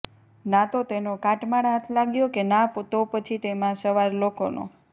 ના તો તેનો કાટમાળ હાથ લાગ્યો કે ના તો પછી તેમાં સવાર લોકોનો